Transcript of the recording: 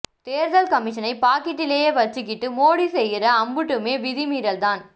தேர்தல் கமிசன பாக்கெட்ல வெச்சிக்கிட்டு மோடி செய்யிற அம்புட்டுமே விதி மீறல்தான்